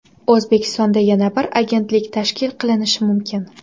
O‘zbekistonda yana bir agentlik tashkil qilinishi mumkin.